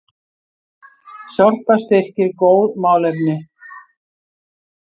Sorpa styrkir góð málefni